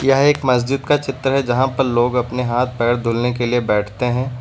यह एक मस्जिद का चित्र है जहां पर लोग अपने हाथ पैर धुलने के लिए बैठते हैं।